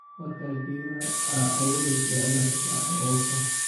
Marka geedhaha aa buureyso wa inad sifican uuwurta.